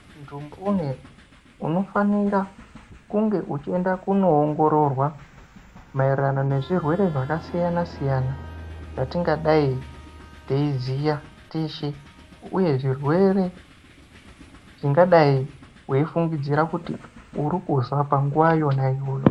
Muntu mbune unofanire kunge uchienda kundoongorora zvirwere zvakasiyana -siyana zvatingadai teiziya zvirwere zvingadai weifungidzira kuti uri kuzwa panguwa yona iyoyo.